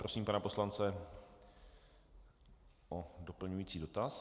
Prosím pana poslance o doplňující dotaz.